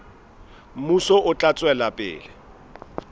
mmuso o tla tswela pele